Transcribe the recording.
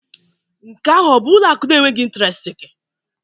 Nke ahụ ọ bụ ụlọ akụ na-enweghị intiresti?